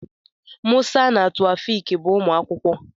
Musa na Taofiq bụ ụmụ akwụkwọ.